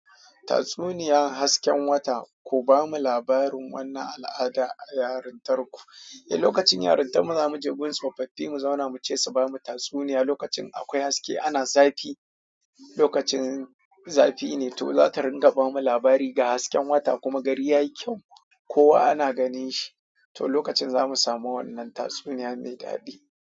Tatsuniya, hasken wata, ku bamu labarin wannan al'ada a yarin tarku. Eh, lokacin yarinta mu zamu je gun tsofaffi mu zauna mu ce su bamu tatsuniya. Lokacin akwai haske ana zafi, lokacin zafi ne to zata ringa bamu labari ga hasken wata kuma gari yayi kyau kowa ana ganin shi. To lokacin zamu samu wannnan tatsuniya mai daɗi.